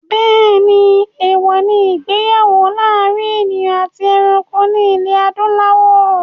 Bẹ́ẹ̀ni, èwọ̀ ní ìgbéyàwó láàrin èèyàn àti ẹranko ní ilẹ̀ adúláwọ̀